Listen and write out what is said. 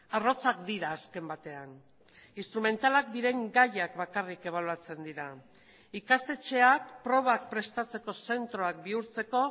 arrotzak dira azken batean instrumentalak diren gaiak bakarrik ebaluatzen dira ikastetxeak probak prestatzeko zentroak bihurtzeko